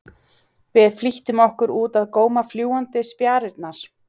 Við flýttum okkur út að góma fljúgandi spjarirnar.